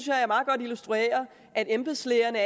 jeg meget godt illustrerede at embedslægerne